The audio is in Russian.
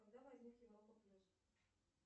когда возник европа плюс